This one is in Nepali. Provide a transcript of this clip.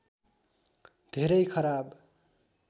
धेरै खराब